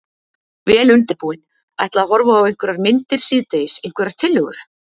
Vel undirbúinn. ætla að horfa á einhverjar myndir síðdegis, einhverjar tillögur?